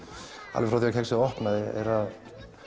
alveg frá því kexið opnaði er að